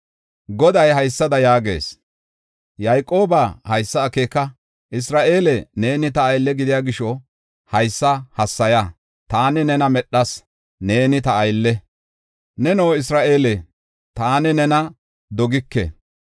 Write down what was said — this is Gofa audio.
Goday haysada yaagees: “Yayqoobaa, haysa akeeka; Isra7eele, neeni ta aylle gidiya gisho haysa hassaya. Taani nena medhas; neeni ta aylle; neno Isra7eele, taani nena dogike.